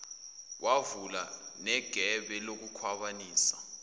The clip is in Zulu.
kwavula negebe lokukhwabanisa